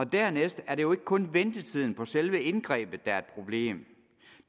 dernæst er det jo ikke kun ventetiden på selve indgrebet der er et problem